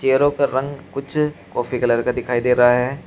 चेहरों का रंग कुछ कॉफी कलर का दिखाई दे रहा है।